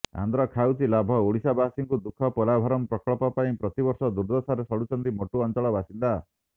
ଆନ୍ଧ୍ର ଖାଉଛି ଲାଭ ଓଡିଶାବାସୀଙ୍କୁ ଦୁଃଖ ପୋଲାଭରମ ପ୍ରକଳ୍ପ ପାଇଁ ପ୍ରତିବର୍ଷ ଦୁର୍ଦ୍ଦଶାରେ ସଢୁଛନ୍ତି ମୋଟୁ ଅଞ୍ଚଳ ବାସିନ୍ଦା